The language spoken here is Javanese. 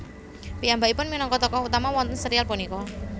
Piyambakipun minangka tokoh utama wonten serial punika